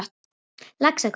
Laxagötu